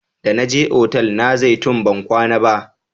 Da na je otal na zaitun ban kwana ba